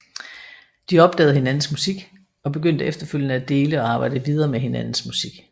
De opdagede hinandens musik og begyndte efterfølgende at dele og arbejde videre med hinandens musik